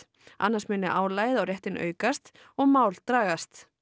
annars muni álagið á réttinn aukast og mál dragast